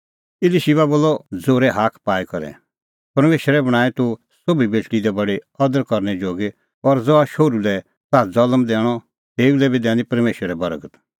इलीशिबा बोलअ ज़ोरै हाक पाई करै परमेशरै बणांईं तूह सोभी बेटल़ी दी बडी अदर करनै जोगी और ज़हा शोहरू लै ताह ज़ल्म दैणअ तेऊ लै बी दैनी परमेशरै बर्गत